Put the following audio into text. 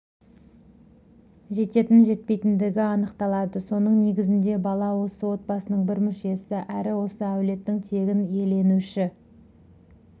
жететін жетпейтіндігі анықталады соның негізінде бала осы отбасының бір мүшесі әрі осы әулеттің тегін иеленуші